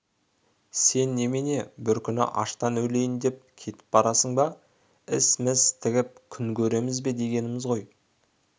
сең немене бір күні аштан өлейін деп кетіп барасың ба іс міс тігіп күн көреміз бе дегеніміз ғой